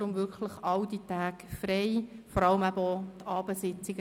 Halten Sie sich deshalb die Termine bitte frei, vor allem auch jene für die Abendsitzungen.